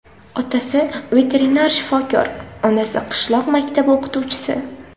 Otasi veterinar shifokor, onasi qishloq maktabi o‘qituvchisi.